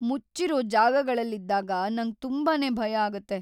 ಮುಚ್ಚಿರೋ ಜಾಗಗಳಲ್ಲಿದ್ದಾಗ ನಂಗ್ ತುಂಬಾನೇ ಭಯ ಆಗುತ್ತೆ.